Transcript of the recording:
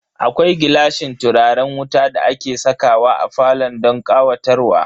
Akwai gilashin turaren wuta da ake sakawa a falo don ƙawatarwa.